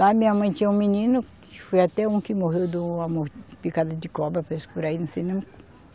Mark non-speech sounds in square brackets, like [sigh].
Lá minha mãe tinha um menino, que foi até um que morreu de uma mor, picada de cobra, fez por aí [unintelligible]